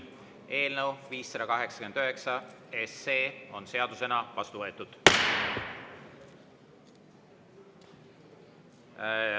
Eelnõu 589 on seadusena vastu võetud.